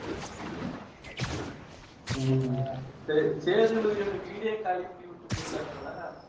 ஹம் சரி, சேதுபதியோட வீடே காலி பண்ணிவுட்டு போயிட்டாரு தல.